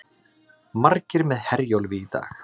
Margir með Herjólfi í dag